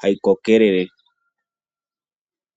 hayi kokelele.